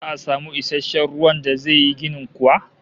Za'a samu isasshen ruwan da za yi ginin kuwa?